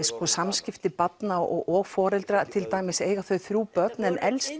samskipti barna og og foreldra til dæmis eiga þau þrjú börn en elsti